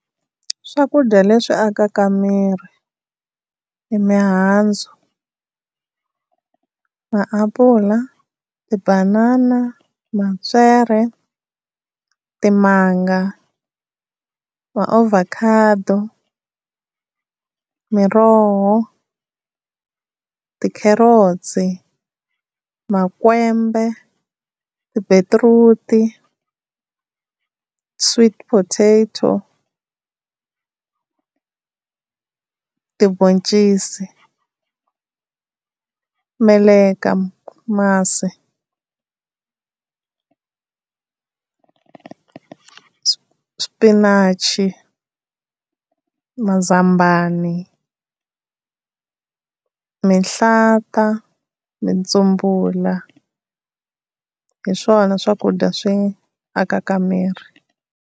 Swakudya leswi akaka miri i mihandzu. aaapula, tibanana, matswere, timanga maovhakhado, miroho, tikhelotsi, makwembe tibetiruti, sweets potato, tiboncisi, meleka, masi, xpinachi, mazambani, mihlata, nitsumbula hi swona swakudya swi akaka miri.